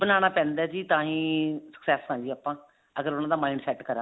ਬਣਾਉਣਾ ਪੈਂਦਾ ਜੀ ਤਾਂਹੀ success ਆਂ ਜੀ ਆਪਾਂ ਅਗਰ ਉਹਨਾ ਦਾ mind set ਕਰਾਂਗੇ